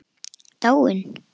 Dáin?